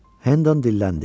Hendan dilləndi.